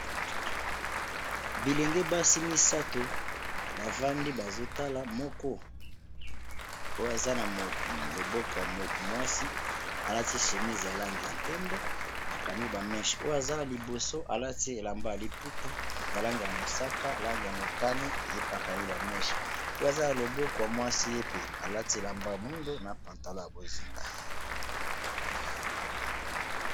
Bilenge basi misato bafandi bazotala, moko oyo aza na loboko ya mwasi alati shemise ya langi ya mpembe, akangi ba meshe, oyo aza na liboso alati elamba ya liputa ya langi ya mosaka na langi ya motane yepe akangi ba meshe, oyo aza na lobokwa mobali, ye pe alati elamba ya mwindo na pantalo ya bozinga.